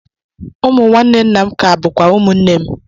Ụmụ nwanne nna m ka bụkwa ụmụnne m